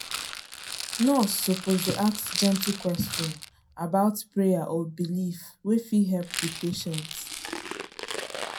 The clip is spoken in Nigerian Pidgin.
nurse suppose dey ask gentle question about prayer or belief wey fit help the patient.